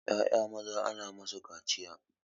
Ƴaƴa maza ana musu kaciya